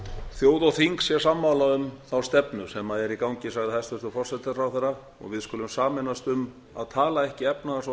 þjóð og þing sé sammála um þá stefnu sem sé í gangi sagði hæstvirtur forsætisráðherra og við skulum sameinast um að tala ekki efnahags og